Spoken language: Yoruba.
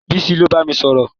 Bísí ló bámi sọ̀rọ̀